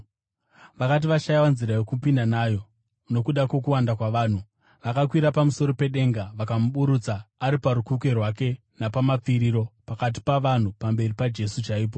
Vakati vashayiwa nzira yokupinda nayo nokuda kwokuwanda kwavanhu, vakakwira pamusoro pedenga vakamuburutsa ari parukukwe rwake nepamapfiriro, pakati pavanhu, pamberi paJesu chaipo.